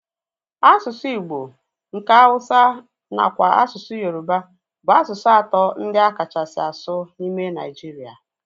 Asụsụ igbo, nke Hausa nakwa asụsụ Yoruba bụ asụsụ atọ ndị a kachasị asụ n'ime Nigeria